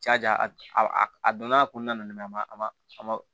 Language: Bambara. Ca ja a donna a kɔnɔna na a ma a ma a ma